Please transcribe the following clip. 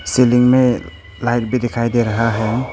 Salon में light भी दिखाई दे रहा है।